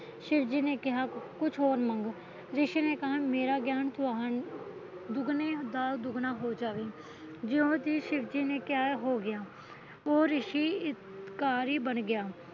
ਸ਼ਿਵਜੀ ਨੇ ਕਿਹਾ ਕੁਛ ਹੋਰ ਮੰਗ ਰਿਸ਼ੀ ਨੇ ਕਿਹਾ ਮੇਰਾ ਗਿਆਨ ਤੁਹਾਨੂੰ ਦੁਗਣੇ ਦਾ ਦੁਗਣਾ ਹੋ ਜਾਵੇ ਜਿਉ ਜੀਅ ਸ਼ਿਵਜੀ ਨੇ ਕਿਹਾ ਹੋ ਗਿਆ ਉਹ ਰਿਸ਼ੀ ਹੰਕਾਰੀ ਬਣ ਗਿਆ